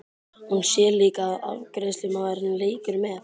Hún sér líka að afgreiðslumaðurinn leikur með.